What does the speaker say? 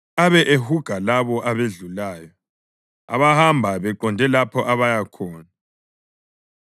abe ehuga labo abedlulayo, abahamba beqonde lapho abaya khona.